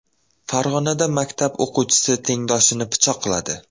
Farg‘onada maktab o‘quvchisi tengdoshini pichoqladi.